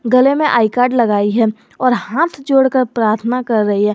गले में I card लगाई है और हाथ जोड़कर प्रार्थना कर रही है।